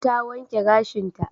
Ta wanke gashinta.